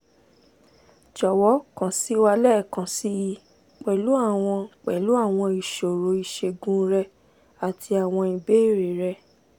jọ̀wọ́ kàn sí wa lẹ́ẹ̀kan síi pẹ̀lú àwọn pẹ̀lú àwọn ìṣòro ìṣègùn rẹ àti àwọn ìbéèrè rẹ